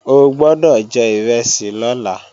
O gbọ́dọ̀ jẹ ìrẹsì lọ́la!